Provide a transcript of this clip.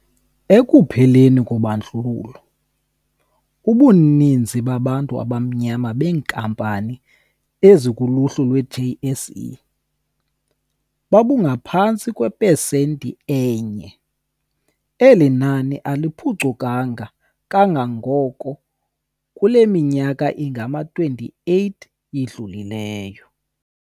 Ekupheleni kobandlululo, ubunini babantu abamnyama beenkampani ezikuluhlu lwe-JSE babungaphantsi kwepesenti enye. Eli nani aliphucukanga kangako kule minyaka ingama-28 idlulileyo.